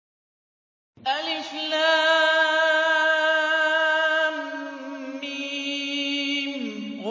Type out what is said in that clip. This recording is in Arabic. الم